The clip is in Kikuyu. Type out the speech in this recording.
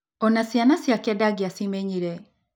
O na ciana ciake ndangĩamenyire.